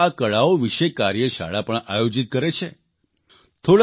હવે તો તેઓ આ કળાઓ વિશે કાર્યશાળા પણ આયોજીત કરે છે